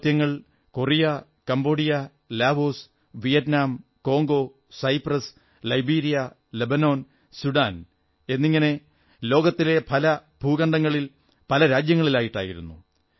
ഈ ദൌത്യങ്ങൾ Korea Cambodia Laos Vietnam Congo Cyprus Liberia Lebanon Sudan എന്നിങ്ങനെ ലോകത്തിലെ പല ഭൂവിഭാഗങ്ങളിൽ പല രാജ്യങ്ങളിലായിട്ടായിരുന്നു